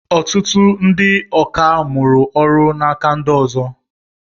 Ọtụtụ ndị ọkà mụrụ ọrụ n'aka ndị ọzọ.